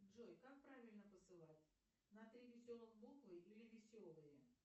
джой как правильно посылать на три веселых буквы или веселые